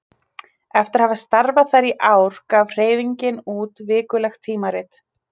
Eftir að hafa starfað þar í ár gaf hreyfingin út vikulegt tímarit.